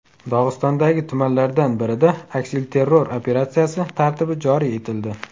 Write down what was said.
Dog‘istondagi tumanlardan birida aksilterror operatsiyasi tartibi joriy etildi.